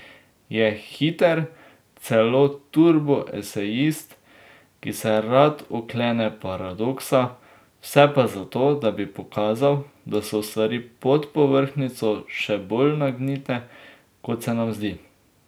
Je hiter, celo turbo esejist, ki se rad oklene paradoksa, vse pa zato, da bi pokazal, da so stvari pod povrhnjico še bolj nagnite, kot se nam zdi.